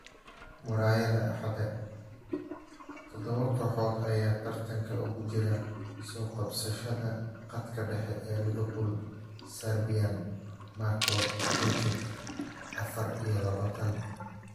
(Murayada axada ) Todobo kooxood ayaa tartanka ugu jira soo qabashada khadka dhexe ee Liverpool, Serbian Marko Grujic, afar iyo labatan.